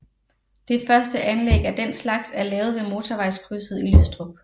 Det første anlæg af den slags er lavet ved motorvejskrydset i Lystrup